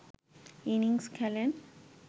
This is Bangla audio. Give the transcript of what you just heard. ইনিংস খেলেন